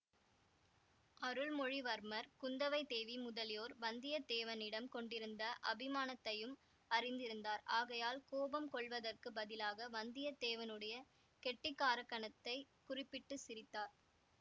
அருள்மொழிவர்மர் குந்தவைதேவி முதலியோர் வந்தியத்தேவனிடம் கொண்டிருந்த அபிமானத்தையும் அறிந்திருந்தார் ஆகையால் கோபம் கொள்வதற்குப் பதிலாக வந்தியத்தேவனுடைய கெட்டிக்காரத்தனத்தைக் குறிப்பிட்டு சிரித்தார்